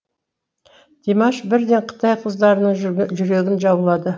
димаш бірден қытай қыздарының жүрегін жаулады